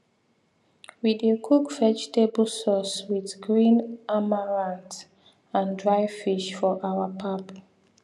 we dey cook vegetable sauce wit green amaranth and dry fish for our pap